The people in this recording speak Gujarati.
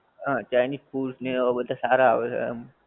હં ચાઇનિજ foods ને એવા બધા સારા આવે છે એમ.